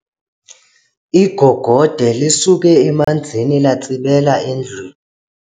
Igogode lisuke emanzini latsibela endlwini.